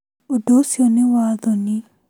Ũndũ ũcio nĩ wa thoni.